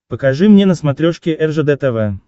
покажи мне на смотрешке ржд тв